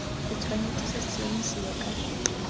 se tshwanetse sa siamisiwa ka